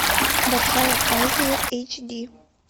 большая азия эйч ди